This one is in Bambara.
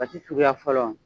Basi suguya fɔlɔ